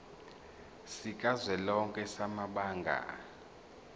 sikazwelonke samabanga r